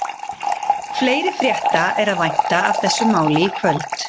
Fleiri frétta er að vænta af þessu máli í kvöld.